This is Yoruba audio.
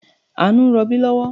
Àánú ń rọbí lọ́wọ́